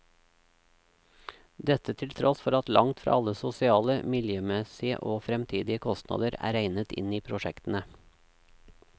Dette til tross for at langt fra alle sosiale, miljømessige og fremtidige kostnader er regnet inn i prosjektene.